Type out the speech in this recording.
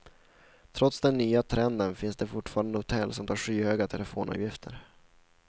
Trots den nya trenden finns det fortfarande hotell som tar skyhöga telefonavgifter.